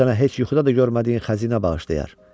O sənə heç yuxuda da görmədiyin xəzinə bağışlayar.